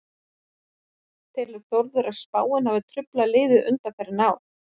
Telur Þórður að spáin hafi truflað liðið undanfarin ár?